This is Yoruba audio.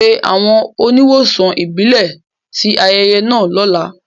Pe àwọn oníwòsàn ìbílẹ̀ sí ayẹyẹ náà lọ́la